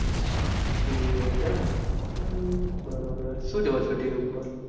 TV જોવો છે એમને બરોબર સુ જોવો છો TV ઉપર.